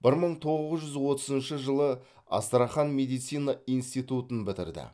бір мың тоғыз жүз отызыншы жылы астрахан медицина институтын бітірді